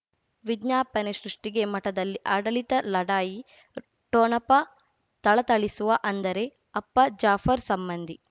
ವಿಜ್ಞಾಪನೆ ಸೃಷ್ಟಿಗೆ ಮಠದಲ್ಲಿ ಆಡಳಿತ ಲಢಾಯಿ ಠೊಣಪ ಥಳಥಳಿಸುವ ಅಂದರೆ ಅಪ್ಪ ಜಾಫರ್ ಸಂಬಂಧಿ